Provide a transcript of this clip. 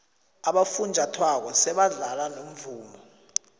abofunjathwako sebadlala nomvumo